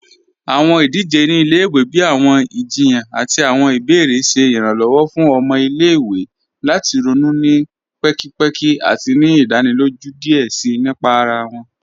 Awọn idije ni ilẹ̀-iwe, bíi awọn ìjìyàn àti awọn ìbèèrè, ṣẹ Ìrànlọ́wọ́ fún awọn ọmọ ilẹ̀-iwe lati ronú ni pẹ̀kìpẹ̀kì àti ni ìdánílójú díẹ̀ síí nípà ara wọn.